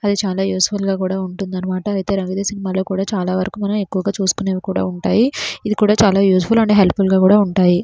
అది చాలా యూస్ఫుల్ గా కూడా ఉంటుందన్నమాట అయితే రాంగ్ దే సినిమాలో కూడా చాలా వరకు మనం ఎక్కువగా చూసుకునేవి కూడా ఉంటాయి ఇది కూడా చాలా యూజ్ఫుల్ అండ్ హెల్పఫుల్ గా కూడా ఉంటాయి.